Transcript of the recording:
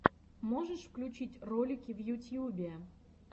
можешь включить ролики в ютьюбе